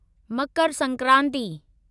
Makar Sankranti